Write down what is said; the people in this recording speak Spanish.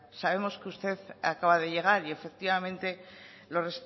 sabemos que usted acaba de llegar y efectivamente los